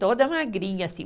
Toda magrinha, assim.